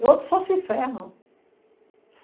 E outro só se ferra.